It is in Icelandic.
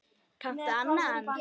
Kanntu annan?